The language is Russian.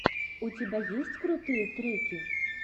у тебя есть крутые треки